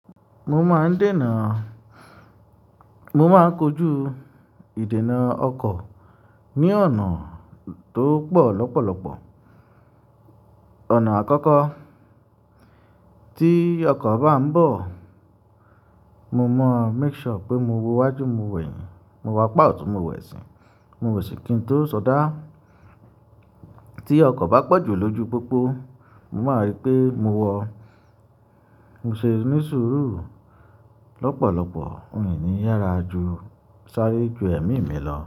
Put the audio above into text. Mo máa ń dènà, mo máa ń kojú ìdènà ọkọ̀ ní ọ̀nà tó pọ̀ lọ́pọ̀lọpọ̀. Ọ̀nà àkọ́kọ́ tí ọkọ̀ bá ń bọ̀, mo mọ make sure pé mo wo wajú mo wẹ̀yìn, mo wo apá ọ̀tún mo wẹ̀sin, mo wẹ̀sìn kí n tó sọdá. Tí ọkọ̀ bá pọ̀ jù lójú pópó, mo máa rípé mo wọ, mo ṣe ní sùúrù lọ́pọ̀lọpọ̀, mi ní yára jù sáré ju ẹ̀mí mi lọ.